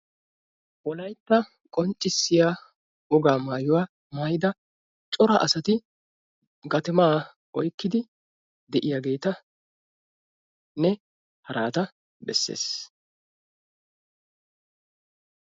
Wolaytta qonccisiyaa wogaa maayuwaa maayidda cora asati gatumma oyqqidi de'iyagetta-nne haratta beesses.